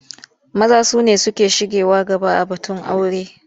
Maza su ne suke shigewa gaba a batun aura.